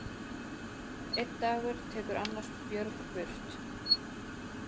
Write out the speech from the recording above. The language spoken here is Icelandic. Einn dagur tekur annars björg burt.